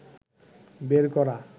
বের করা